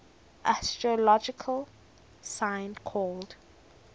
astrological sign called